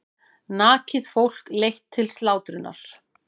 Nakið fólk leitt til slátrunar.